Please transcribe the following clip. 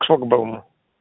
к шлагбауму